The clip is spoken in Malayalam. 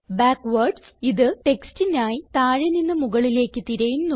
ബാക്ക്വാർഡ്സ് ഇത് ടെക്സ്റ്റിനായി താഴെ നിന്ന് മുകളിലേക്ക് തിരയുന്നു